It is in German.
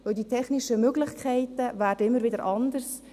Denn die technischen Möglichkeiten werden immer wieder anders.